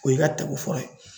O y'i ka tako fɔlɔ ye